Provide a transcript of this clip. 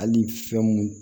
Hali fɛn mun